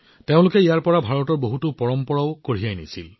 তেওঁলোকে ইয়াৰ পৰা ভাৰতৰ বহুতো পৰম্পৰাক লগত লৈ গৈছিল